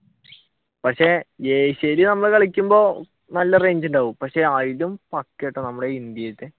പക്ഷെ ഏഷ്യയിൽ നമ്മൾ കളിക്കുമ്പോൾ നല്ല റേഞ്ച് ഉണ്ടാവും പക്ഷെ അതിലും പക്കയാനെറ്റോ നമ്മുടെ ഇന്ത്യയിലത്തെ